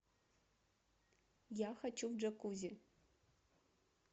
я хочу в джакузи